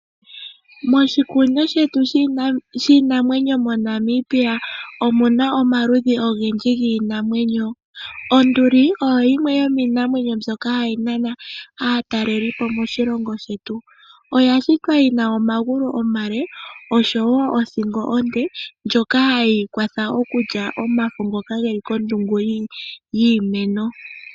Moshikunino shetu shiinamwenyo moNamibia omu na omaludhi ogendji giinamwenyo. Onduli oyo yimwe yomiinamwenyo mbyoka hayi nana aatalelipo moshilongo shetu. Oya shitwa yi na omagulu omale osho wo othingo onde, ndjoka hayi kwatha okulya omafo ngoka geli kondungu yiimeno.